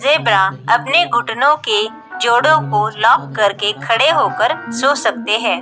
Zebra अपने घुटनों के जोड़ों को लॉक करके खड़े होकर सो सकते हैं।